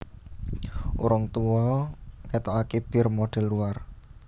Orang Tua ngetoake bir model luar